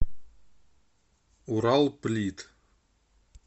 уралплит